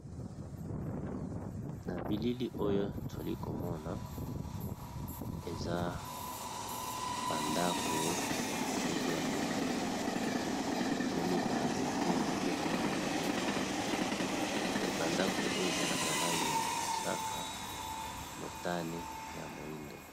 Nabilili oyo toli komona eza bandako ya mikepe ya milai. Na moni ba nzete ya mikepe ya milai bandako oyo eza, na balangi ya mosaka motane pe ya moindo.